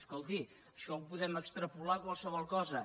escolti això ho podem extrapolar a qualsevol cosa